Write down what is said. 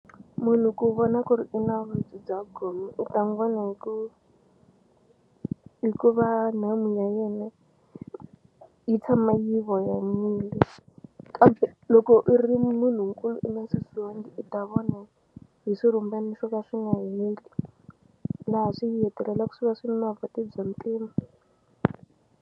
Munhu ku vona ku ri u na vuvabyi bya gome u ta n'wi vona hi ku hikuva nhamu ya yena yi tshama yi voyamile kambe loko u ri munhunkulu i nga susiwangi i ta vona hi swirhumbani swo ka swi nga heli laha swi hetelelaku swi va swi ri na bya mpimo.